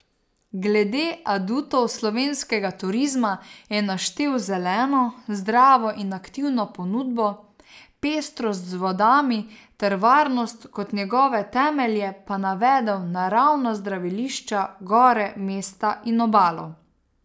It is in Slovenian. Glede adutov slovenskega turizma je naštel zeleno, zdravo in aktivno ponudbo, pestrost z vodami ter varnost, kot njegove temelje pa navedel naravna zdravilišča, gore, mesta in obalo.